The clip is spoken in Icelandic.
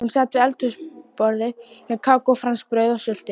Hún sat við eldhúsborðið með kakó, franskbrauð og sultu.